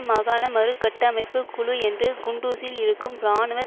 மாகாண மறுகட்டமைப்பு குழு என்று குண்டுஸில் இருக்கும் இராணுவ